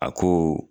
A ko